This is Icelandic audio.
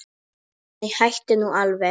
Nei, hættu nú alveg!